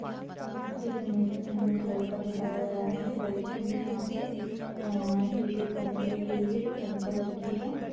इस इमेज में हमें एक लड़का दिखाया गया है। लड़की ने यहां पे उम-म टि - शर्ट पहन के रखी हुई है जो पिंक कलर की है।